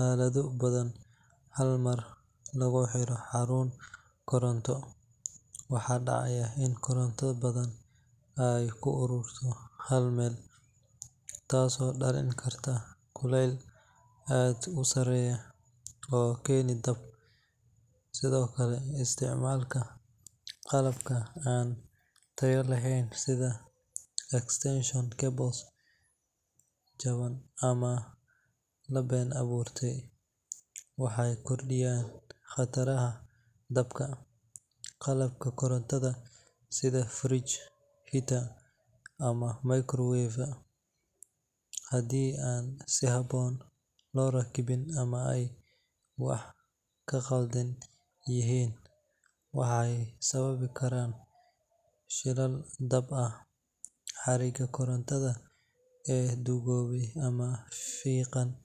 aalado badan hal mar lagu xiro xarun koronto, waxa dhacaya in koronto badan ay ku ururto hal meel taasoo dhalin karta kulayl aad u sarreeya oo keena dab. Sidoo kale, isticmaalka qalabka aan tayo lahayn sida extension cables jaban ama la been abuurtay waxay kordhiyaan khatarta dabka. Qalabka korontada sida fridge, heater ama microwave haddii aan si habboon loo rakibin ama ay wax ka qaldan yihiin, waxay sababi karaan shilal dab ah. Xargaha korontada ee duugoobay ama fiiqan.